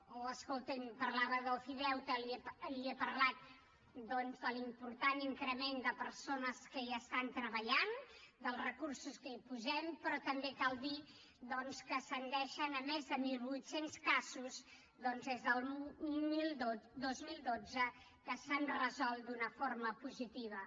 o escolti’m parlava d’ofideute li he parlat doncs de l’important increment de persones que hi estan treballant dels recursos que hi posem però també cal dir que ascendeixen a més de mil vuit cents casos des del dos mil dotze que s’han resolt d’una forma positiva